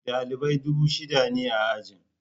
Dalibai dubu shida ne a ajin.